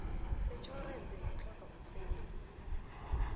setjhorense yokutlhoga umsebenzi